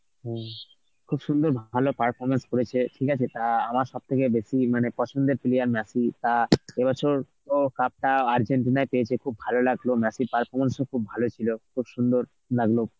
হম, খুব সুন্দর ভালো performance করেছে ঠিক আছে, তা আমার সব থেকে বেশি মানে পছন্দের player মেসি বা এ বছর তো cup টা আর্জেন্টিনাই পেয়েছে খুব ভালো লাগলো মেসির performance ও খুব ভালো ছিল, খুব সুন্দর লাগলো